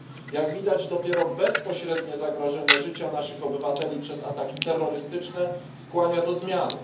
Jak widać, dopiero bezpośrednie zagrożenie życia naszych obywateli atakami terrorystycznymi skłania do zmiany.